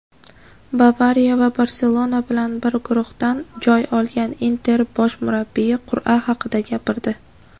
"Bavariya" va "Barselona" bilan bir guruhdan joy olgan "Inter" bosh murabbiyi qur’a haqida gapirdi;.